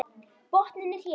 Botninn er hér!